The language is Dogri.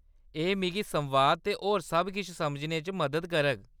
एह्‌‌ मिगी संवाद ते होर सब किश समझने च मदद करग।